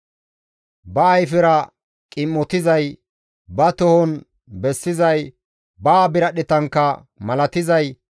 ba ayfera qim7otizay, ba tohon bessizay, ba biradhdhetankka malatizay,